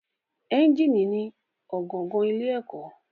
Ẹ́ńjínì ni ọ̀gangan ilé ọkọ̀.